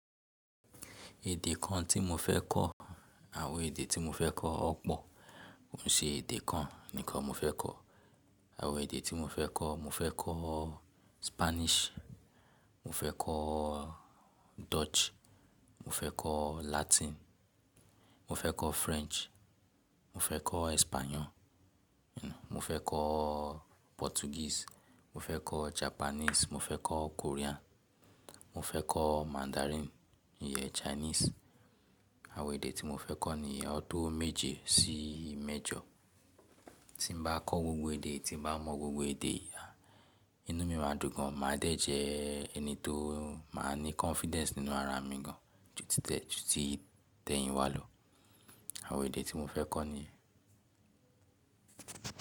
Èdè kan tí mo fẹ́ kọ́, àwọn èdè tí mo fẹ́ kọ́ ọ̀ pọ̀, kì n ṣe èdè kan nìkan mo fẹ́ kọ́. Àwọn èdè tí mo fẹ́ kọ́, mo fẹ́ kọ́ Spanish, mo fẹ́ kọ́ Dutch, mo fẹ́ kọ́ Latin, mo fẹ́ kọ́ French, mo fẹ́ kọ́ Español, mo fẹ́ kọ́. Portuguese, mo fẹ́ kọ́ Japanese, mo fẹ́ kọ́ Korean, mo fẹ́ kọ́ Mandarin, ìyẹ Chinese. Àwọn èdè tí mo fẹ́ kọ́ nìyẹn o to méje sí mẹ́jọ. Tí mo bá kọ́ gbogbo èdè, tí mo bá mọ̀ gbogbo èdè, inú mi máa dùn gan, màá dẹ̀ jẹ́ ẹni tó máa ní confidence nínú ara mi gan-an ju tí tẹ̀hìn wá lọ. Àwọn èdè tí mo fẹ́ kọ́ nìyẹn.